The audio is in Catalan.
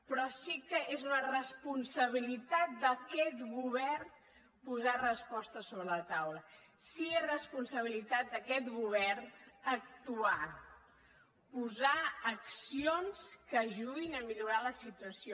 però sí que és una responsabilitat d’aquest govern posar respostes sobre la taula sí que és responsabilitat d’aquest govern actuar posar accions que ajudin a millorar la situació